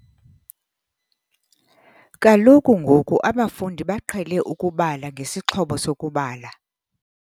Kaloku ngoku abafundi baqhele ukubala ngesixhobo sokubala.